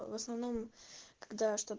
в основном когда что